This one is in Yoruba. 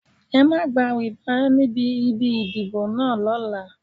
Ẹ má gba rìbá níbi ibi ìdìbò náà lọ́la.